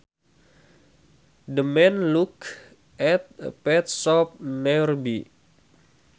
The man looked at a pet shop nearby